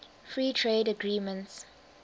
free trade agreements